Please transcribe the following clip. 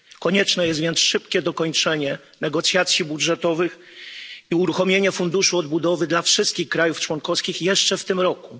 Konieczne jest więc szybkie dokończenie negocjacji budżetowych i uruchomienie Funduszu Odbudowy dla wszystkich krajów członkowskich jeszcze w tym roku.